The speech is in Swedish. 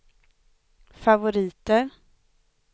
favoriter